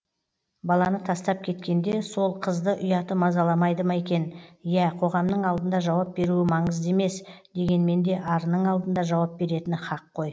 баланы тастап кеткенде сол қызды ұяты мазаламайды ма екен ия қоғамның алдында жауап беруі маңызды емес дегенменде арының алдында жауап беретіні һақ қой